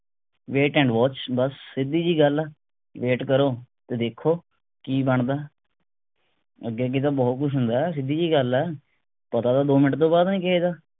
wait and watch ਬੱਸ ਸਿਧਿ ਜਿਹੀ ਗੱਲ ਆ wait ਕਰੋ ਤੇ ਦੇਖੋ ਕਿ ਬਣਦਾ ਅੱਗੇ ਤਾਂ ਬਹੁਤ ਕੁਸ਼ ਹੁੰਦਾ ਹੈ ਸੀਡੀ ਜੀ ਗੱਲ ਗੱਲ ਆ। ਪਤਾ ਤਾਂ ਦੋ ਮਿੰਟ ਤੋਂ ਬਾਅਦ ਨਹੀਂ ਕਿਸੇ ਦਾ